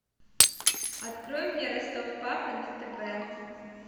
открой мне ростов папа на тв